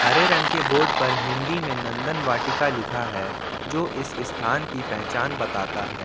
हरे रंग के बोर्ड पर हिंदी में नंदन वाटिका लिखा है जो इस स्थान की पहचान बताता हैं।